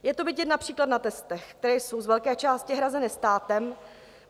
Je to vidět například na testech, které jsou z velké části hrazeny státem.